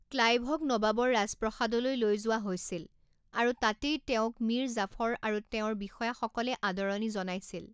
ক্লাইভক নবাবৰ ৰাজপ্ৰসাদলৈ লৈ যোৱা হৈছিল আৰু তাতেই তেওঁক মীৰ জাফৰ আৰু তেওঁৰ বিষয়াসকলে আদৰণি জনাইছিল।